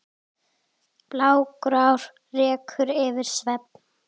blágrár reykur yfir sveif